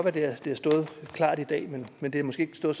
at det har stået klart i dag men det har måske ikke stået